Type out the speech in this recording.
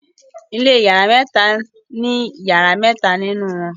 ilé iyàrá mẹta ní iyàrá mẹta nínú won